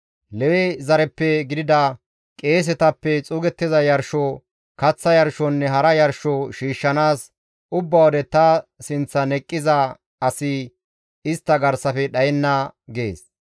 Lewe zareppe gidida qeesetappe xuugettiza yarsho, kaththa yarshonne hara yarsho shiishshanaas ubba wode ta sinththan eqqiza asi istta garsafe dhayenna› » gees.